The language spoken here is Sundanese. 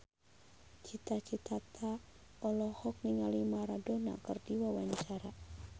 Cita Citata olohok ningali Maradona keur diwawancara